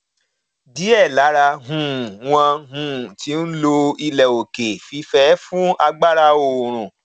diẹ lára um wọn um ti ń lo ilẹ òkè fífẹ fún agbára oòrùn